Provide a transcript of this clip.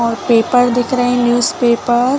और पेपर दिख रहे है न्यूज़पेपर --